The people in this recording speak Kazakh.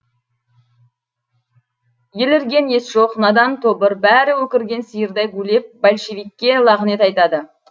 елірген ес жоқ надан тобыр бәрі өкірген сиырдай гулеп большевикке лағнет айтады